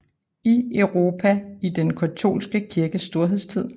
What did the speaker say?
I Europa i den katolske kirkes storhedstid